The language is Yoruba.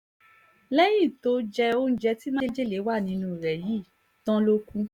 lẹ́yìn tó jẹ́ oúnjẹ tí májèlé wà nínú rẹ̀ yìí tán ló kù